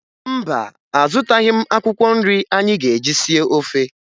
Mba, azụtaghị m akwụkwọ nri anyị ga-eji sie ofe